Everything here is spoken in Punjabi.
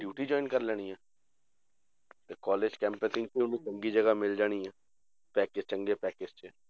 Duty join ਕਰ ਲੈਣੀ ਹੈ ਤੇ college campus ਵਿੱਚ ਉਹਨੂੰ ਚੰਗੀ ਜਗ੍ਹਾ ਮਿਲ ਜਾਣੀ ਹੈ, 'ਚ